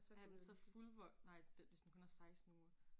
Er han så fuldvoksen nej hvis den kun er 16 uger